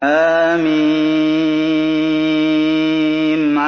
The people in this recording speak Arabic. حم